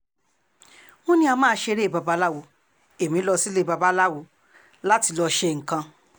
wọ́n ní á máa ṣeré babaláwo ẹ̀mí lọ sílé babaláwo láti lọ́ọ́ ṣe nǹkan